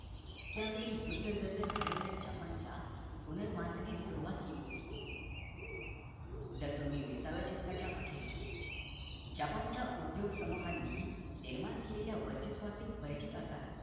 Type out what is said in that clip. त्या वेळी japan च्या पुनर्बांधणीस सुरवात केली होती जर तुम्ही विसाव्या शतकाच्या आखिरीस जपान च्या उद्योग समूहांनी निर्माण केलेल्या वर्चस्वाचे परिचित असाल